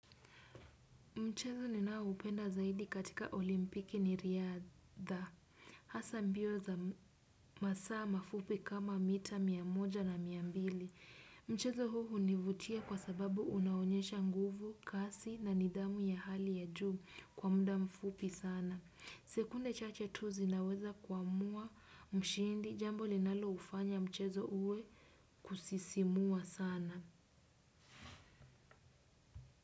Mchezo ninaoupenda zaidi katika olimpiki ni riadha. Hasa mbio za masaa mafupi kama mita miamoja na miambili. Mchezo huu hunivutia kwa sababu unaonyesha nguvu, kasi na nidhamu ya hali ya juu kwa muda mfupi sana. Sekunde chache tu zinaweza kuamua mshindi jambo linalo ufanya mchezo uwe kusisimua sana.